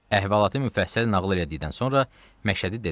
Əhvalatı müfəssəl nağıl elədikdən sonra Məşədi dedi: